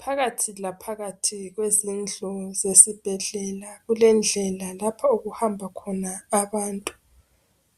Phakathi laphakathi kwezindlu zesibhedlela kulendlela lapho okuhamba khona abantu.